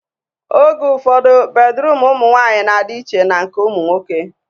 Oge ụfọdụ, bedruum ụmụ nwaanyị na-adị iche na nke ụmụ nwoke